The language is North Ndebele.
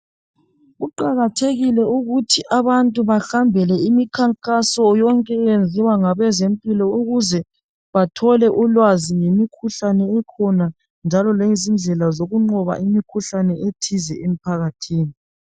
Kuqakathekile ukuthi abantu bahambele imikhankaso yonke eyenziwa ngabezempilo ukuze bathole ulwazi ngemikhuhlane ekhona njalo ngezindlela zokuqoba imikhuhlane ethize emphakathini.